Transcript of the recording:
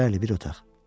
Bəli, bir otaq.